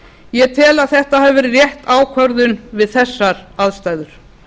ég tel að þetta hafi verið rétt ákvörðun við þessar aðstæður